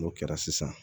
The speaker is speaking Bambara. N'o kɛra sisan